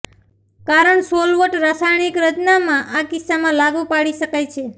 કારણ સોલવન્ટ રાસાયણિક રચનામાં આ કિસ્સામાં લાગુ પાડી શકાય છે